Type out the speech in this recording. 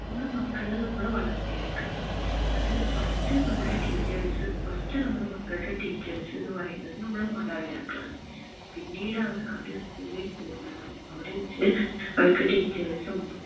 നമ്മുടെ മക്കളെ നമ്മ വളർത്തി എടുക്ക അത് first നമ്മുടെ teachers first നമ്മൾടെ മക്കളുടെ teachers എന്നു പറയുന്നത് നമ്മളെ മാതാപിതാക്കൾ ആണ് പിന്നീട് ആണ് അത് school ഇൽ പോകുന്നതും അവിടെ വെച് അവർക്ക് teachers ഉം